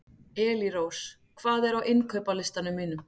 Elírós, hvað er á innkaupalistanum mínum?